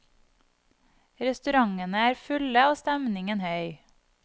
Restaurantene er fulle og stemningen høy.